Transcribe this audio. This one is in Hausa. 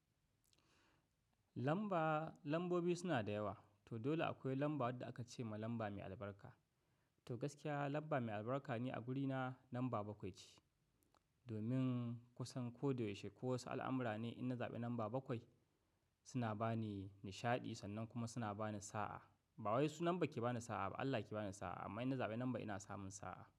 Lamba, lambobi suna da yawa. To dole akwai lamba wadda aka ce ma lamba mai albarka. To gaskiya, lamba mai albarka ne a guri na lamba bakwai ce. Domin, kusan ko da yaushe ko wasu al'amura ne idan na zaɓi lamba bakwai, suna ba ni nishaɗi sannan kuma suna ba ni sa'a. Ba wai sunan bakke ba na sa'a ba Allah ke ba ni sa'a, amma idan na zaɓi lamba ina samun sa'a.